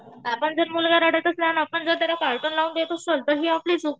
आपण जर मुलगा रडत असला आपण जर त्याला कार्टून लावून देत असू तर ही आपली चूक.